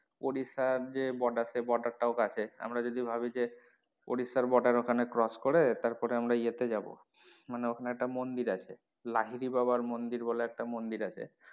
ওড়িশার যে border সেই border টাও কাছে আমরা যদি ভাবি যে ওড়িশার border ওখানে cross করে তারপর আমরা ইয়ে তে যাবো